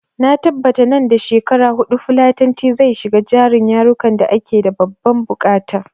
Na tabbata nan da shekara huɗu fulatanci zai shiga jerin yarukan da ake da babban buƙata